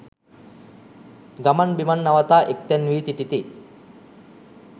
ගමන් බිමන් නවතා එක් තැන් වී සිටිති.